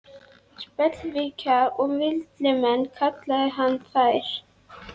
Spellvirkjar og villimenn, kallaði hann þær.